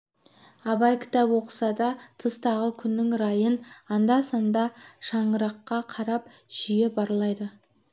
абай кітап оқыса да тыстағы күннің райын анда-санда шаңыраққа қарап жиі барлайды